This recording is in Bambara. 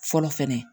Fɔlɔ fɛnɛ